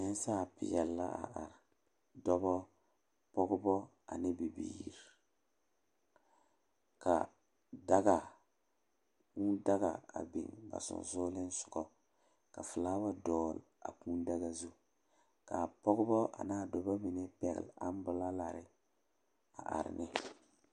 Nensaalpeɛle la a are are dɔba pɔgeba ane bibiiri ka daga Kūū daga a biŋ ba sensoglesoga ka filawa dɔgle a Kūū daga zu k,a pɔgeba ane a dɔba mine pɛgle amboralari a are ne.